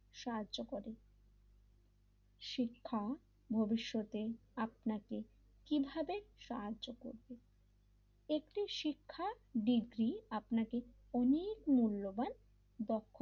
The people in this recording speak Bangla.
সাহায্য করে শিক্ষা ভবিষ্যতে আপনাকে কিভাবে সাহায্য করবে একটি শিক্ষার ডিগ্রী আপনাকে অনেক মূল্যবান দক্ষতা,